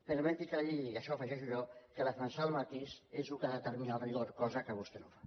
permeti que li digui i això ho afegeixo jo que defensar el matís és el que determina el rigor cosa que vostè no fa